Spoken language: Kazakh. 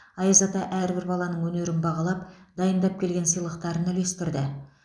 аяз ата әрбір баланың өнерін бағалап дайындап келген сыйлықтарын үлестірді